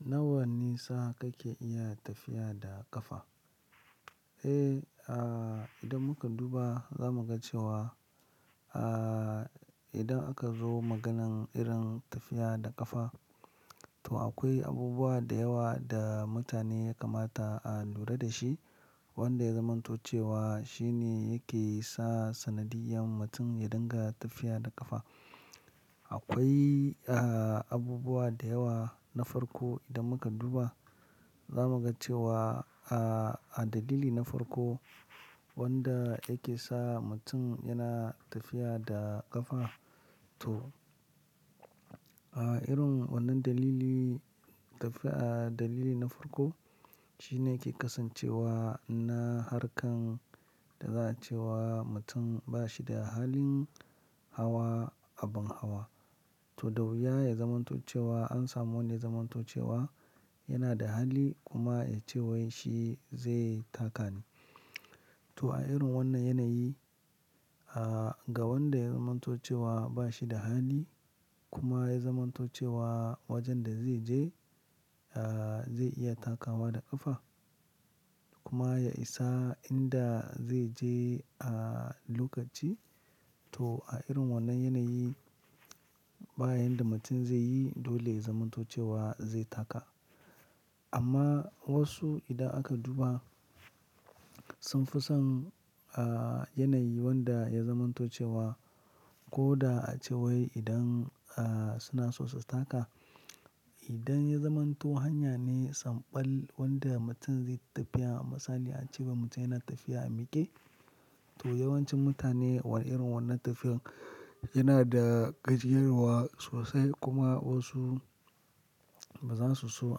Nawa nisa kake iya tafiya da ƙafa? Eh, ah, idan muka duba zamu ga cewa, ah, idan aka zo maganan irin tafiya da ƙafa, to akwai abubuwa da yawa da mutane ya kamata a lura da shi wanda ya zamanto cewa shine yake sa sanadiyan mutum ya dinga tafiya da ƙafa. Akwai a abubuwa da yawa, na farko idan muka duba, zamu ga cewa a a dalili na farko wanda yake sa mutum yana tafiya da ƙafa to a irin wannan dalili tafiya a dalili na farko, shine yake kasancewa na harkan da za'a cewa mutum ba shi da halin hawa abun hawa. To, da wuya ya zamanto cewa an samu wanda ya zamanto cewa yana da hali kuma ya ce wai shi zai taka ne. To a irin wannan yanayi, ga wanda ya zamanto cewa ba shi da hali kuma ya zamanto cewa wajen da zai je, ah zai iya takawa da ƙafa, kuma ya isa inda zai je a lokaci. To a irin wannan yanayi, bayan da mutum zai yi dole ya zamanto cewa zai taka. Amma wasu idan aka duba sun fi son a yanayi wanda ya zamanto cewa ko da a cewai idan suna so su taka. Idan ya zamanto hanya ne samɓal wanda mutum zai yi tafiya. A misali a cewa mutum yana tafiya a miƙe. To yawancin mutane wan- irin wannan tafiyan yana da gajiyarwa sosai kuma wasu ba za su so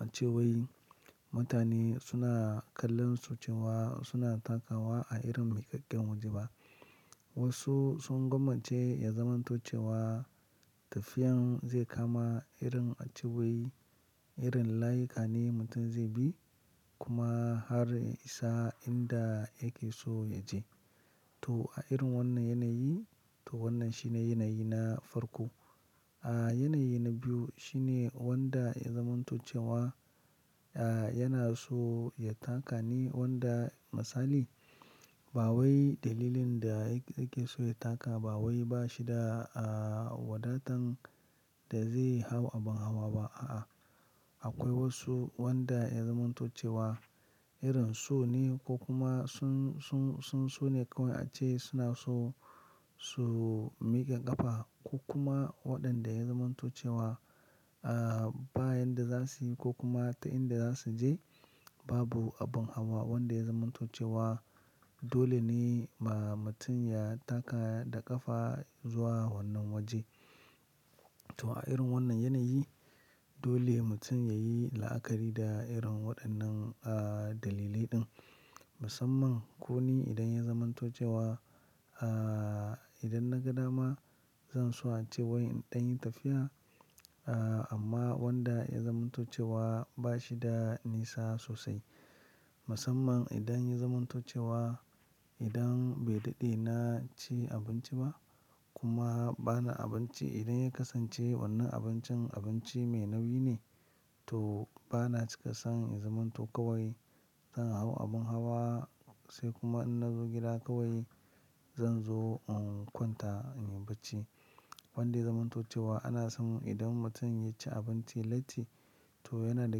a ce wai mutane suna kallon su cewa suna takawa a irin miƙaƙƙen waje ba. Wasu sun gwammace ya zamanto cewa tafiyan zai kama irin a cewai irin layuka ne mutum zai bi, kuma har ya isa inda yake so ya je. To a irin wannan yanayi, to wannan shine yanayi na farko. A yanayi na biyu shine wanda ya zamanto cewa a yana so ya taka ne wanda misali ba wai dalilin da yake so ya taka ba wai ba shi da wadatan da zai hau abin hawa ba a'a. Akwai wasu wanda ya zamanto cewa irin so ne ko kuma sun, sun, sun, su ne kawai a ce suna so su miƙa ƙafa, ko kuma waɗanda ya zamanto cewa bayan da za su yi, ko kuma ta inda za su je babu abin hawa wanda ya zamanto cewa dole ne ma mutum ya taka da ƙafa zuwa wannan waje. To a irin wannan yanayi, dole mutum ya yi la'akari da irin waɗannan dalilai ɗin. Musamman, ko ni idan ya zamanto cewa idan na ga dama zan so a ce wai in ɗan yi tafiya, amma wanda ya zamanto cewa ba shi da nisa sosai. Musamman idan ya zamanto cewa idan bai daɗe na ci abinci ba, kuma bana abinci, idan ya kasance wannan abincin abinci mai nauyi ne, to bana cika son ya zamanto kawai zan hau abin hawa sai kuma in na zo gida kawai zan zo in kwanta in yi bacci. Wanda ya zamanto cewa ana son idan mutum ya ci abinci latti, to yana da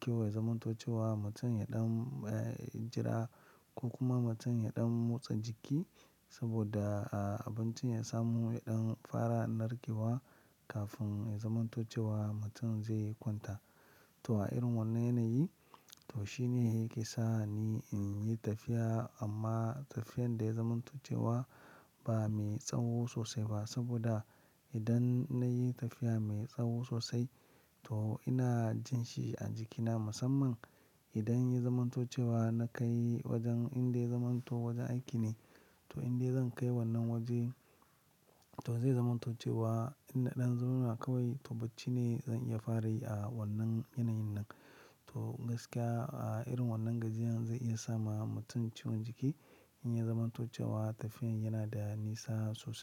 kyau ya zamanto cewa mutum ya ɗan jira ko kuma mutum ya ɗan motsa jiki saboda abincin ya samu ya ɗan fara narkewa, kafin ya zamanto cewa mutum zai kwanta. To a irin wannan yanayi, to shine yake sa ni in yi tafiya, amma tafiyan da ya zamanto cewa ba mai tsawo sosai ba, saboda idan na yi tafiya mai tsawo sosai to ina jin shi a jikina musamman idan ya zamanto cewa na kai wajen inda ya zamanto wajen aiki ne. To inda zan kai wannan waje to zai zamanto cewa in na ɗan zauna kawai to bacci ne zan iya fara yi a wannan yanayin nan. To gaskiya a irin wannan gajiyan zai iya sa ma mutum ciwon jiki in ya zamanto cewa tafiyan yana da nisa sosai.